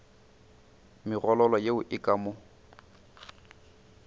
megololo yeo e ka mo